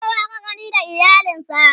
kowa da ka gani da iyalan sa